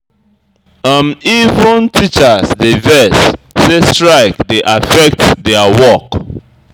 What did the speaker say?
Even teachers dey vex sey strike dey affect their work.